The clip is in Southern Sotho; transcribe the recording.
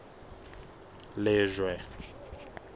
lejwe